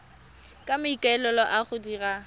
ka maikaelelo a go dira